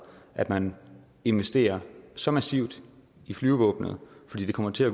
at man investerer så massivt i flyvevåbnet for det kommer til at